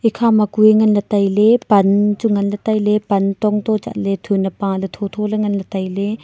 ekhama kuye ngan ley taile pan chu ngan ley tai ley pan tochu thun ne paley tho tho ley ngan ley tailey.